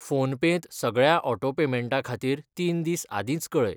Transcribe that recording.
PhonePe त सगळ्या auto पेमेंटां खातीर तीन दीस आदींच कऴय.